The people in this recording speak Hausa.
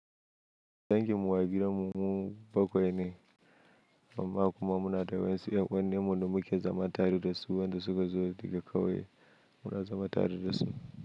Dangin mu a gidan mu mu bakwai ne, amma kuma muna da wayansu yan uwanin mu da muke zama tare da su, wadanda suka zo da ka kauye muna zama tare da su.